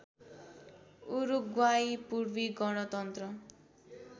उरुग्वाइ पूर्वी गणतन्त्र